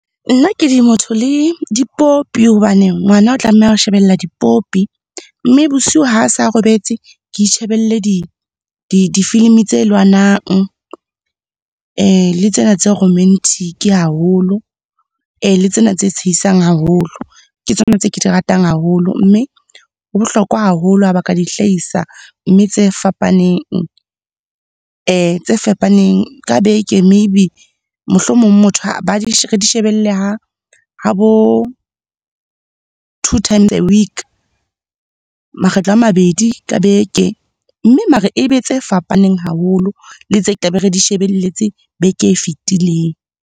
Nna ke di motho le dipopi hobane ngwana o tlameha ho shebella dipopi. Mme bosiu ha sa robetse, ke itjhebelle di-film tse lwanang, le tsena tse romantic haholo, le tsena tse tsheisang haholo. Ke tsona tse ke di ratang haholo, mme ho bohlokwa haholo ha ba ka di hlahisa mme tse fapaneng, tse fapaneng ka beke maybe, mohlomong motho , re di shebelle ha bo two times a week, makgetlo a mabedi ka beke. Mme mara e be tse fapaneng haholo le tse ke tla be re di shebelletse beke e fetileng.